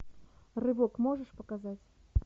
рывок можешь показать